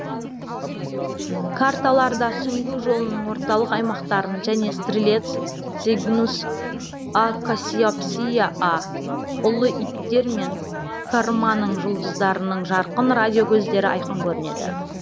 карталарда сүңгу жолының орталық аймақтарын және стрелец цигнус а кассиопсия а ұлы иттер мен корманың жұлдыздарының жарқын радио көздері айқын көрінеді